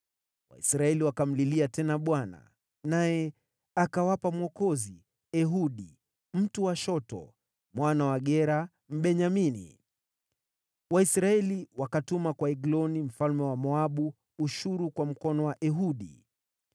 Waisraeli wakamlilia tena Bwana , naye akawapa mwokozi: Ehudi, mtu wa shoto, mwana wa Gera, Mbenyamini. Waisraeli wakatuma kwa Egloni mfalme wa Moabu ushuru kwa mkono wa Ehudi.